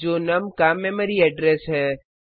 यह नुम का memory address है